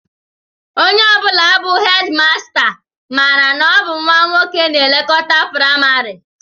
Onye ọ bụla bụ hedịmasta, mara na ọ bụ nnwa nwoke na-elekọta praịmarị